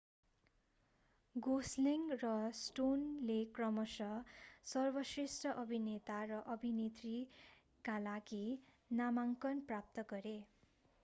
Gosling र स्टोनले क्रमशः सर्वश्रेष्ठ अभिनेता र अभिनेत्रीका लागि नामाङ्कन प्राप्त गरे